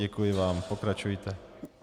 Děkuji vám, pokračujte.